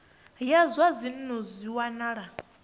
ya zwa dzinnu zwi wanala